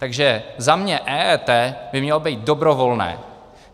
Takže za mě EET by mělo být dobrovolné.